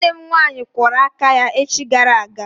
Nwanne m nwaanyị kwụrụ aka ya echi gara aga.